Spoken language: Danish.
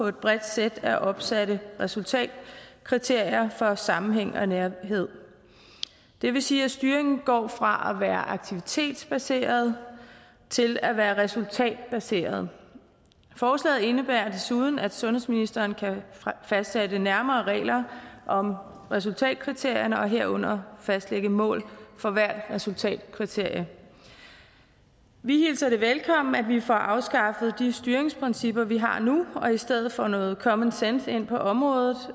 et bredt sæt af opsatte resultatkriterier for sammenhæng og nærhed det vil sige at styringen går fra at være aktivitetsbaseret til at være resultatbaseret forslaget indebærer desuden at sundhedsministeren kan fastsætte nærmere regler om resultatkriterierne herunder fastlægge mål for hvert resultatkriterie vi hilser det velkommen at vi får afskaffet de styringsprincipper vi har nu og i stedet får noget common sense ind på området